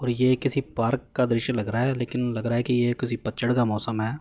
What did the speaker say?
और यह किसी पार्क